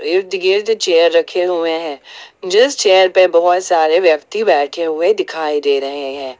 इर्द गिर्द चेयर रखे हुए हैं जिस चेयर पर बहुत सारे व्यक्ति बैठे हुए दिखाई दे रहे हैं।